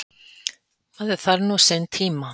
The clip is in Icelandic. Maður þarf nú sinn tíma.